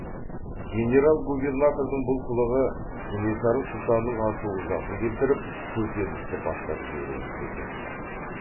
генерал губернатордың бұл қылығы кенесары сұлтанның ашу ызасын келтіріп көтерілісті бастап жіберуін тездетті